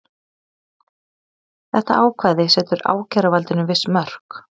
Þetta ákvæði setur ákæruvaldinu viss mörk